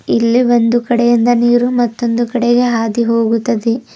ಇಲ್ಲಿ ಒಂದು ಕಡೆ ಇಂದ ನೀರು ಮತ್ತೊಂದು ಕಡೆಗೆ ಹಾದಿ ಹೋಗುತ್ತದೆ.